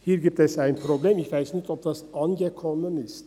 Es gibt ein Problem, und ich weiss nicht, ob das angekommen ist.